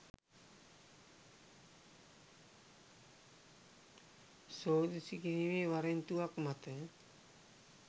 සෝදිසි කිරීමේ වරෙන්තුවක් මත